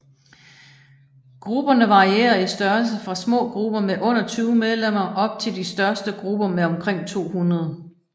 Grupperne varierer i størrelse fra små grupper med under 20 medlemmer op til de største grupper med omkring 200